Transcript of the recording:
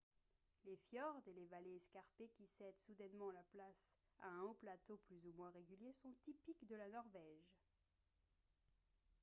les fjords et les vallées escarpées qui cèdent soudainement la place à un haut plateau plus ou moins régulier sont typiques de la norvège